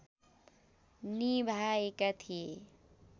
निभाएका थिए